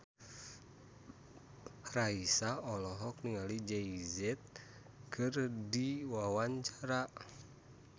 Raisa olohok ningali Jay Z keur diwawancara